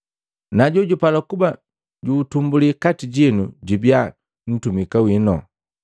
na jojupala kuba juutumbuli kati jinu jubia ntumika wino.